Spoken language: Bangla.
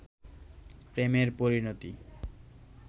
প্রেমের পরিণতি